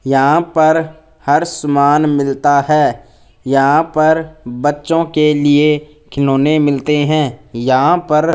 यहां पर हर सामान मिलता है यहां पर बच्चों के लिए खिलौने मिलते हैं यहां पर--